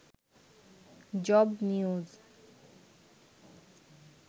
job news